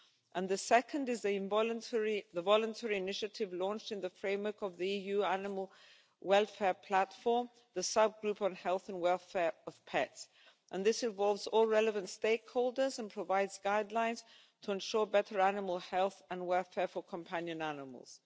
And the second is the voluntary initiative launched in the framework of the EU Animal Welfare Platform the sub group on health and welfare of pets, and this involves all relevant stakeholders and provides guidelines to ensure better animal health and welfare for companion animals.